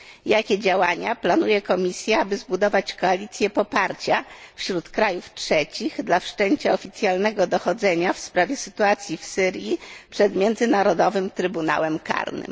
Jakie działania planuje Komisja, aby zbudować koalicję poparcia wśród krajów trzecich dla wszczęcia oficjalnego dochodzenia w sprawie sytuacji w Syrii przed Międzynarodowym Trybunałem Karnym?